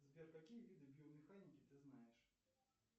сбер какие виды биомеханики ты знаешь